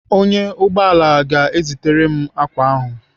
Ọnyá ụgbọala ga-ezitere m ákwà ahụ.